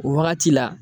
O wagati la